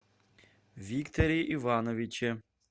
викторе ивановиче